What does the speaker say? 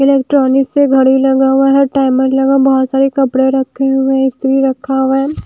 Electronics से घड़ी लगा हुआ है टाइमर लगा बहुत सारे कपड़े रखे हुए हैं इस्त्री रखा हुआ है ।